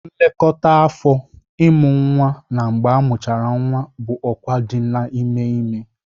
Nlekọta afọ, Ịmụ nwa na mgbe amuchara nwa bụ ọkwa dị n'ime ime